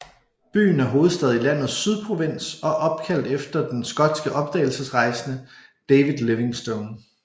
Byen er hovedstad i landets Sydprovins og er opkaldt efter den skotske opdagelsesrejsende David Livingstone